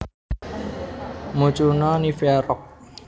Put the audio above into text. Mucuna nivea Roxb